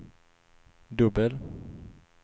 dubbel